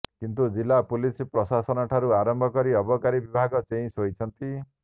କିନ୍ତୁ ଜିଲ୍ଲା ପୁଲିସ ପ୍ରଶାସନଠାରୁ ଆରମ୍ଭ କରି ଅବକାରୀ ବିଭାଗ ଚେଇଁ ଶୋଇଛନ୍ତି